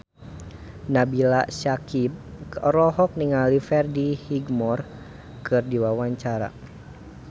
Nabila Syakieb olohok ningali Freddie Highmore keur diwawancara